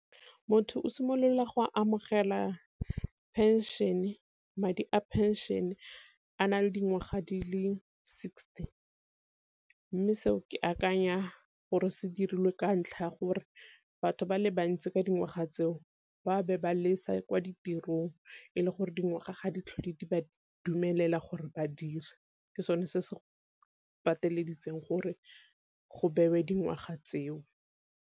Motho o simolola go amogela pension-e madi a pension a na le dingwaga di le sixty, mme seo ke akanya gore se dirilwe ka ntlha ya gore batho ba le bantsi ka dingwaga tseo ba be ba lesa kwa ditirong e le gore dingwaga ga ditlhale di ba dumelela gore ba dire, ke sone se se pateleditswe gore go bewe dingwaga tseo.